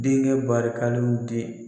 Denŋɛ barikaliw di